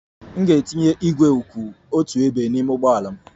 M ga-etinye igwe kwụ otu ebe n'ime ụgbọ ala m.